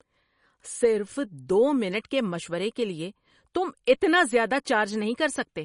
صرف دو منٹ کے مشورے کے لیے تم اتنا زیادہ چارج نہیں کر سکتے!